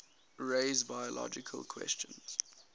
raise biological questions